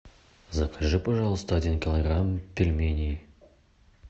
закажи пожалуйста один килограмм пельменей